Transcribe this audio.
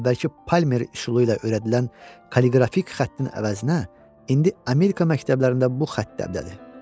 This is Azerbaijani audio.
Əvvəlki Palmer üsulu ilə öyrədilən koqrafik xəttin əvəzinə indi Amerika məktəblərində bu xətt dəbdədir.